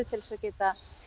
til að geta